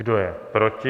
Kdo je proti?